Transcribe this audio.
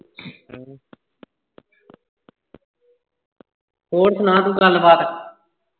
ਹੋਰ ਸੁਣਾ ਤੂੰ ਗੱਲ ਬਾਤ।